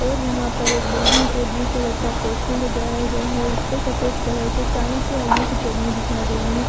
और यहां पर एक बिल्डिंग पे ब्लू कलर का पोस्टर लगाया गया है उस पर सफेद कलर से चाणक्य आई_ए_स अकेडमी लिखा गया है।